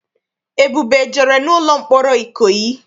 Ebube ejere n'ụlọ mkpọrọ Ikoyi?